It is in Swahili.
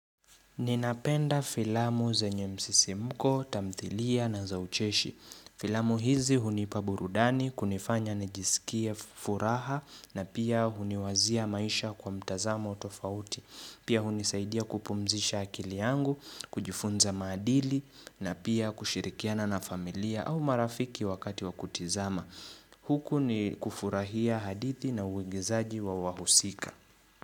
Ninapenda filamu zenye msisimko, tamthilia na za ucheshi. Filamu hizi hunipa burudani, kunifanya nijisikia furaha na pia huniwazia maisha kwa mtazamo tofauti. Pia hunisaidia kupumzisha akili yangu, kujifunza maadili na pia kushirikiana na familia au marafiki wakati wa kutizama. Huku ni kufurahia hadithi na uigizaji wa wahusika.